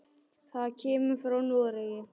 Það kemur frá Noregi.